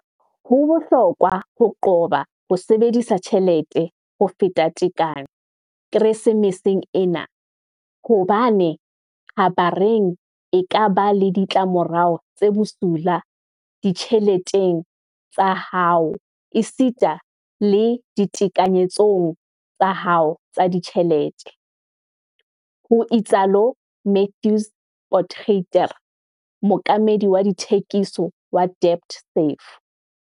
"Ho bohlokwa ho qoba ho sebedisa tjhelete ho feta tekanyo Keresemeseng ena, hobane kgabareng e ka ba le ditla morao tse bosula ditjheleteng tsa hao esita le ditekanyetsong tsa hao tsa ditjhelete," ho itsalo Matthys Potgieter, mookamedi wa dithekiso wa DebtSafe.